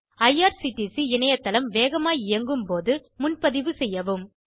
IRCTC இணையத்தளம் வேகமாய் இயங்கும்போது முன்பதிவு செய்யவும்